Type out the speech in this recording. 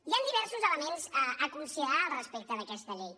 hi han diversos elements a considerar respecte d’aquesta llei